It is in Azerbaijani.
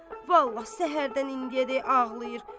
Vallah səhərdən indiyədək ağlayır.